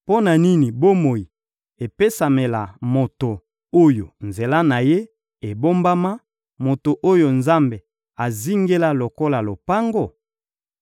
Mpo na nini bomoi epesamela moto oyo nzela na ye ebombama, moto oyo Nzambe azingela lokola lopango?